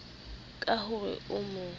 ka ho re o mo